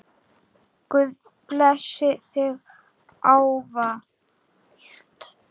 Guð blessi þig ávallt.